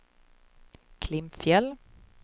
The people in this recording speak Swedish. Klimpfjäll